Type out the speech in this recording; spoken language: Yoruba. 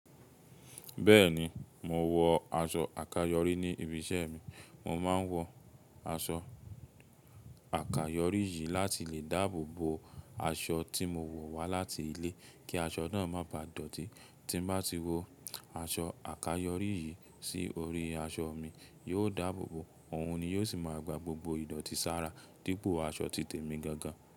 Bẹ́ẹ̀ni, mò wọ aṣọ àkáyọrí ní ibi iṣẹ́ mi. Mo máa ń wọ aṣọ àkáyọrí yìí láti lè dáàbò bo aṣọ tí mo wọ̀ wá láti ilé kí aṣọ náà má bà dọ̀tí. Tí n bá ti wo aṣọ àkáyọrí yìí sí orí aṣọ mi, yóò dáàbò bo òun ni yóò sì máa gba gbogbo ìdọ̀tí sára dípò aṣọ títè mi gangan.